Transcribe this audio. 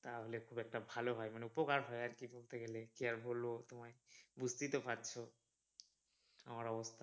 তাহলে খুব একটা ভালো হয় মানে উপকার হয় আর কি বলতে গেলে কি আর বলবো বুঝতেই তো পারছো আমার অবস্থা।